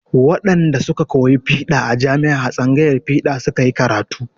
Wadanda su ka koyi fiɗa a jami'a a tsangayar fiɗa su ka yi karatu.